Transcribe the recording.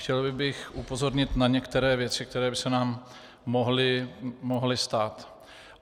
Chtěl bych upozornit na některé věci, které by se nám mohly stát.